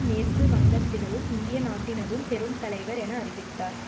மேற்கு வங்கத்தினதும் இந்திய நாட்டினதும் பெரும் தலைவர் என அறிவித்தார்